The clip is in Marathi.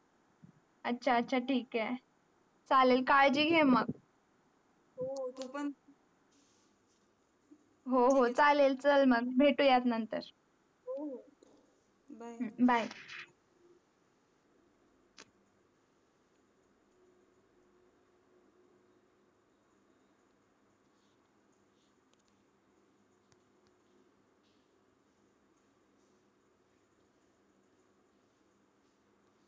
याचा याचा ठीक आहे चालेल काळजी घे मग हो तू पण हो हो चालेल भेटू यात नंतर हो हो byebye